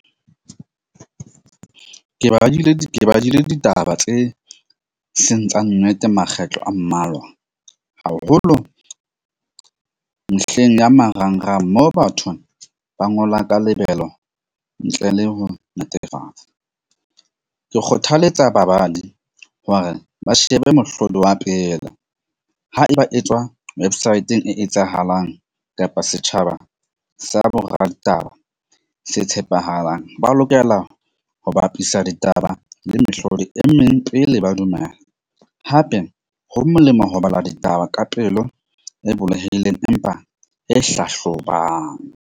Ke badile ditaba tse seng tsa nnete makgetlo a mmalwa haholo mehleng ya marangrang mo batho ba ngola ka lebelo ntle le ho netefatsa. Ke kgothaletsa babadi hore ba shebe mohlodi wa pela ha eba etswa websaeteng e etsahalang kapa setjhaba sa boraditaba se tshepahalang. Ba lokela ho bapisa ditaba le mehlodi e meng pele ba dumela. Hape ho molemo ho bala ditaba ka pelo e bulehileng empa e hlahlobang.